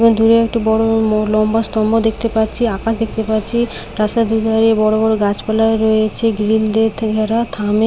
দূরে একটি বড় ম লম্বা স্তম্ভ দেখতে পাচ্ছি আকাশ দেখতে পাচ্ছি রাস্তার দুধারে বড় বড় গাছপালা রয়েছে গ্রিল দিয়ে থেকে ঘেরা থামে --